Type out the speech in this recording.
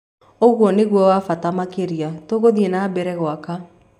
ũguo nĩguo wa bata makĩria. Tũgũthie na mbere gwaka